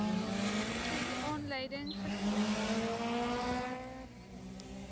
sessie aanleiding gegee